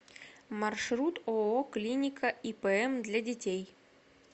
маршрут ооо клиника ипм для детей